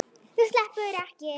Þú sleppur ekki!